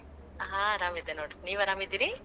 ಹಾ ಆರಾಮದೇವಿ ನೋಡ್, ನೀವ್ ಆರಾಮದಿರಿ?